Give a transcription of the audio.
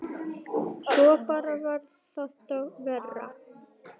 Svo bara varð þetta verra.